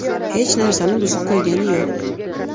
Hech narsani buzib qo‘ygani yo‘q.